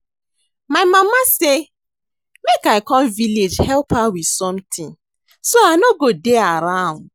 My mama say make I come village help her with something so I no go dey around